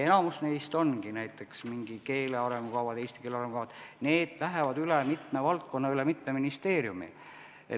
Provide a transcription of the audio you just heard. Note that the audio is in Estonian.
Enamik neist ongi näiteks keele arengukavad, eesti keele arengukavad, need hõlmavad mitut valdkonda, mitut ministeeriumi.